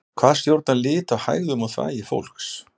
Hvað stjórnar lit á hægðum og þvagi fólks?